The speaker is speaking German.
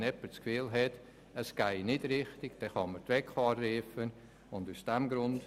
Wenn also jemand das Gefühl hat, es gehe nicht richtig zu und her, kann er die WEKO anrufen.